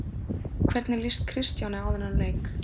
Hvernig lýst Kristjáni á þann leik?